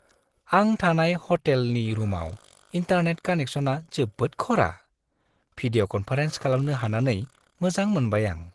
आं थानाय ह'टेलनि रुमआव इन्टारनेट कानेक्सनआ जोबोद खरा। भिडिअ'-कन्फारेन्स खालामनो हानानै मोजां मोनबाय आं।